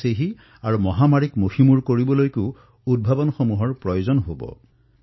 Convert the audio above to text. সেইবাবে এই মহামাৰীৰ ওপৰত বিজয় সাব্যস্ত কৰাৰ বাবে আমাৰ এই বিশেষ উদ্ভাৱনো এক বৃহৎ আধাৰ হিচাপে বিবেচিত হৈছে